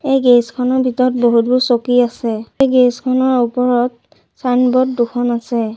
এই গেৰেজ খনৰ ভিতৰত বহুতো চকী আছে এই গেৰেজ খনৰ ওপৰত ছাইনবোৰ্ড দুখন আছে।